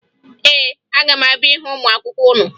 Ee, aga m abịa hụ ụmụ akwụkwọ unu